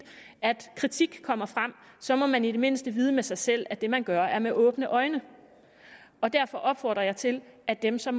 at kritik kommer frem så må man i det mindste vide med sig selv at det man gør er med åbne øjne og derfor opfordrer jeg til at dem som